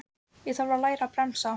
Ég þarf að læra að bremsa.